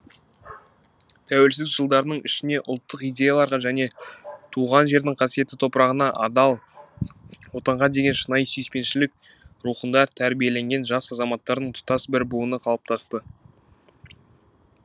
тәуелсіздік жылдарының ішіне ұлттық идеяларға және туған жердің қасиетті топырағына адал отанға деген шынайы сүйіспеншілік рухында тәрбиеленген жас азаматтардың тұтас бір буыны қалыптасты